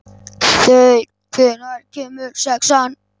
Þeyr, hvenær kemur sexan?